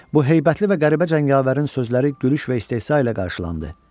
Bu heybətli və qəribə cəngavərin sözləri gülüş və istehza ilə qarşılandı.